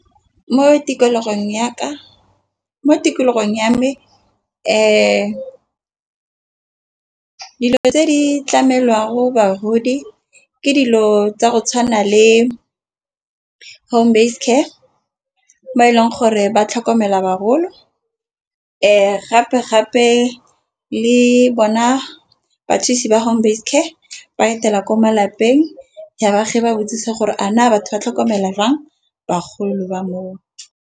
Mo tikologong ya ka mo tikologong ya me dilo tse di tlamelwang go bagodi ke dilo tsa go tshwana le home base care mo e leng gore ba tlhokomela bagolo . Gape gape le bona bathusi ba home base care ba etela ko malapeng ya baagi ba botsisa gore a na batho ba tlhokomelwa jang bagolo ba moo.